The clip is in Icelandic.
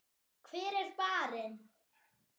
Hver er barinn?